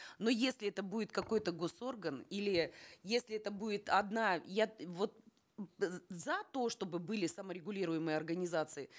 но если это будет какой то госорган или если это будет одна я вот за то чтобы были саморегулируемые организации